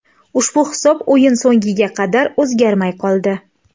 Ushbu hisob o‘yin so‘ngiga qadar o‘zgarmay qoldi.